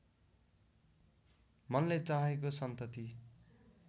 मनले चाहेको सन्तति